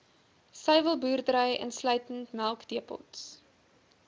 suiwelboerdery insluitend melkdepots